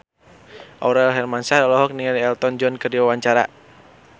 Aurel Hermansyah olohok ningali Elton John keur diwawancara